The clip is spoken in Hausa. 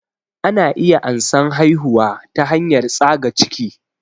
Ana iya ansan haihuwa ta hanyar tsaga ciki